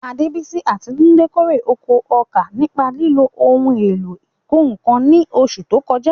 Adebisi àti Tunde kórè oko ọkà nípa lílo ohun èlò ìkọ́ nǹkan ní oṣù tó kọjá.